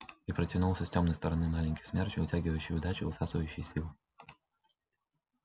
и протянулся с тёмной стороны маленький смерч вытягивающий удачу высасывающий силы